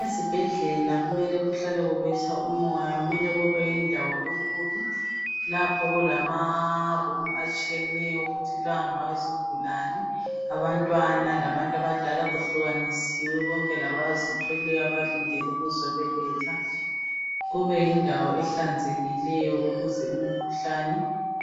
ezibhedlela kumele kuhlale kubetha umoya kumele kube yindawo enkulu lapho kulama room atshiyeneyo ukuthi la ngawezigulane abantwana labantu abadala kuhlukanisiwe konke labazithweleyo abalindele ukuzobeletha kube yindawo ehlanzekileyo ukuze imkhuhlane